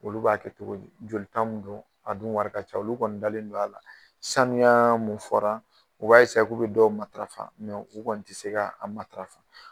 Olu b'a kɛ togo di, joli tan don a dun wari ka ca olu kɔni dalen don a la sanuya mun fɔra u b'a k'u bɛ dɔw matafa mɛ u kɔni tɛ se k'a mataafa.